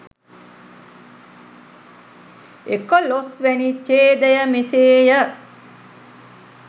එකොළොස් වැනි ඡේදය, මෙසේ ය.